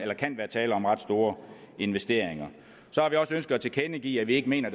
der kan være tale om ret store investeringer så har vi også ønsket at tilkendegive at vi ikke mener